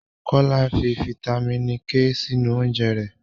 Kolaw fi fítámìnì K sínú oúnjẹ rẹ̀